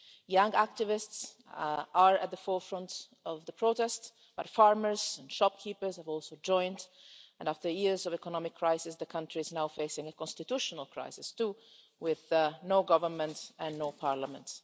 Young activists are at the forefront of the protest, but farmers and shopkeepers have also joined, and after years of economic crisis, the country is now facing a constitutional crisis too, with no government and no parliament.